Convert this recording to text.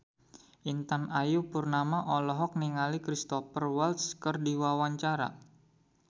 Intan Ayu Purnama olohok ningali Cristhoper Waltz keur diwawancara